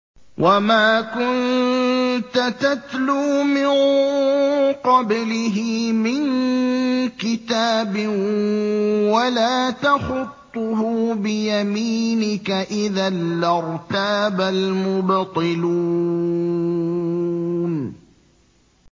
وَمَا كُنتَ تَتْلُو مِن قَبْلِهِ مِن كِتَابٍ وَلَا تَخُطُّهُ بِيَمِينِكَ ۖ إِذًا لَّارْتَابَ الْمُبْطِلُونَ